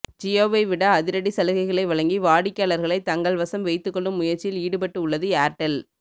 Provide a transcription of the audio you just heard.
ஜியோவை விட அதிரடி சலுகைகளை வழங்கி வாடிக்கையாளர்களை தங்கள் வசம் வைத்துகொள்ளும் முயற்சியில் ஈடுபட்டு உள்ளது ஏர்டெல்